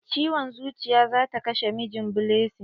Ciwon zuciya zata kashe mijin blessing.